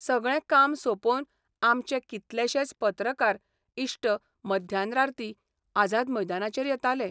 सगळें काम सोंपोवन आमचे कितलेशेच पत्रकार इश्ट मध्यान रार्ती आझाद मैदानाचेर येताले.